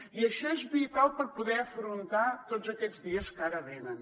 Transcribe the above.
i això és vital per poder afrontar tots aquests dies que ara venen